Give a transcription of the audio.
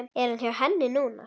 Er hann hjá henni núna?